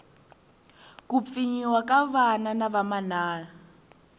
ku pfinyiwa ka vana na vamana